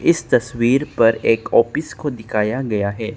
इस तस्वीर पर एक ऑफिस को दिखाया गया है।